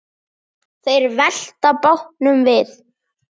Þeir velta bátnum við.